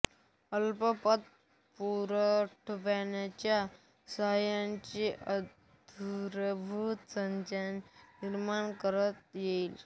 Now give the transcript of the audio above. अल्प पतपुरवठ्याच्या सहाय्याने आधारभूत संरचना निर्माण करता येईल